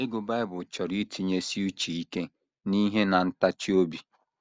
“ Ịgụ Bible chọrọ itinyesi uche ike n’ihe na ntachi obi. ”